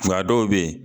Nka dɔw bɛ yen